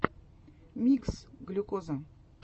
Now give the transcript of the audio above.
микс глюкоза